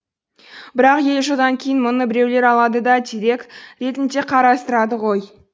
бірақ елу жылдан кейін мұны біреулер алады да дерек ретінде қарастырады ғой